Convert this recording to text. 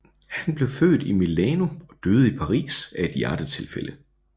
Han blev født i Milano og døde i Paris af et hjertetilfælde